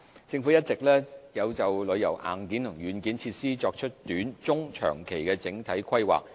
政府一直有就旅遊硬件和軟件設施作出短、中及長期的整體規劃。